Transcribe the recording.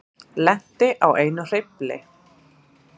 Lenti á einum hreyfli